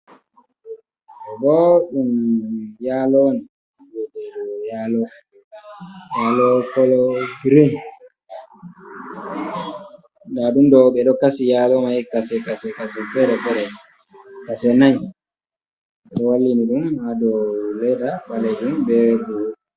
Booɗɗumm yaalo on, yaalo. Yaalo "kologirin", ndaa ɗum ɗoo ɓe ɗo "kasi" yaalo man "kase-kase" ferfeere "Kase" nayi, ɓe ɗo wallini ɗum ha dow leeda ɓaleejum bee "bulu".